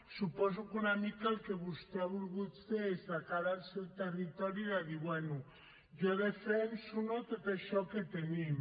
suposo que una mica el que vostè ha volgut fer és de cara al seu territori de dir bé jo defenso no tot això que tenim